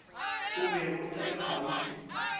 o bego o le kgauswi